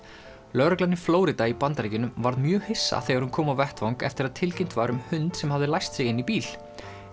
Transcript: lögreglan í Flórída í Bandaríkjunum varð mjög hissa þegar hún kom á vettvang eftir að tilkynnt var um hund sem hafði læst sig inni í bíl